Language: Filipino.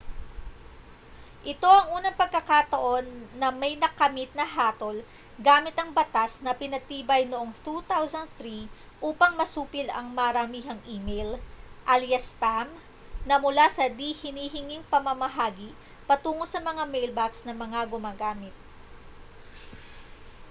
ito ang unang pagkakataon na may nakamit na hatol gamit ang batas na pinagtibay noong 2003 upang masupil ang maramihang e-mail alyas spam na mula sa di-hinihinging pamamamahagi patungo sa mga mailbox ng mga gumagamit